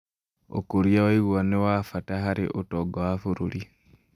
ũkũria wa igwa nĩ wa bata harĩ ũtonga wa bũrũri